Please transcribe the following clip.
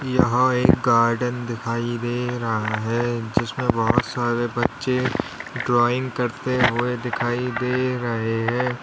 यहां एक गार्डन दिखाई दे रहा है जिसमें बहोत सारे बच्चे ड्राइंग करते हुए दिखाई दे रहे है।